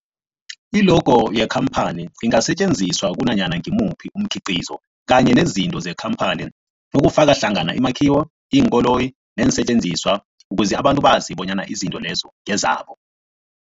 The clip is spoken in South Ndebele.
I-logo yekhamphani ingasetjenziswa kunanyana ngimuphi umkhiqizo kanye nezinto zekhamphani okufaka hlangana imakhiwo, iinkoloyi neensentjenziswa ukuze abantu bazi bonyana izinto lezo ngezabo.